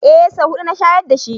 Eh, sau huɗu na shayar dashi